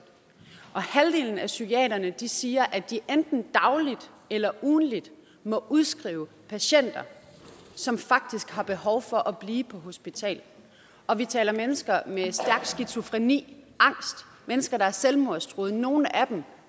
og halvdelen af psykiaterne siger at de enten dagligt eller ugentligt må udskrive patienter som faktisk har behov for at blive på hospitalet og vi taler mennesker med stærk skizofreni angst mennesker der er selvmordstruede og nogle af dem